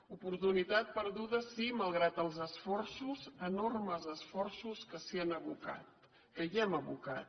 oportunitat perduda sí malgrat els esforços enormes esforços que s’hi han abocat que hi hem abocat